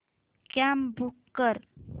cab book कर